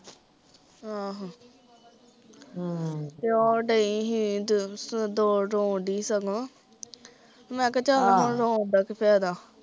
ਆਹੋ ਹਮ ਤੇ ਉਹ ਡਈ ਸੀ ਉ ਰੋਣ ਡਈ ਸੀ ਸਗੋਂ ਮੈਂ ਕਿਹਾ ਆਹ ਚੱਲ ਹੁਣ ਰੋਣ ਦਾ ਕੀ ਫ਼ੈਦਾ